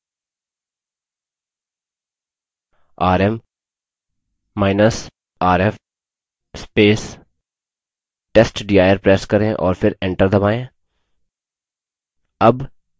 rmrf testdir press करें और फिर enter दबायें